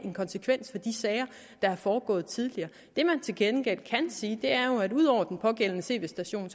konsekvens de sager der er foregået tidligere det man til gengæld kan sige er jo at ud over den pågældende tv station